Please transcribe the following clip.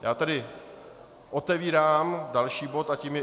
Já tedy otevírám další bod a tím je